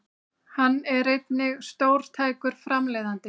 Hann er einnig stórtækur framleiðandi